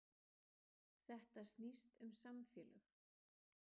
Þetta snýst um samfélög